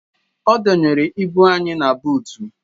Ọ dọnyere ibu anyị na buutu